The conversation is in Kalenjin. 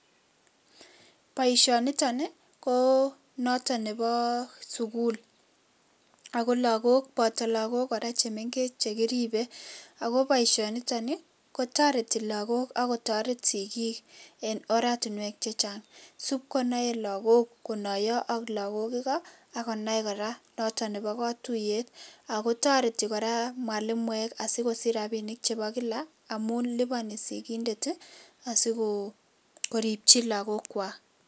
Boisiniton ko notok nebo sukul, ako lakok boto lakok che mengech che kiripei ako boisionitok kotoreti lakok ako torereti sikiik eng oratinwek chechang , sipkonai lakok konaiyo ak lakok alak akonai kora noto nebo katuiyet ako toreti kora mwalimuek asikosich rapinik chebo kila amun lipani sikiindet asikoripchi lakokwak.